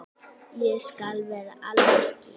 Ég skal vera alveg skýr.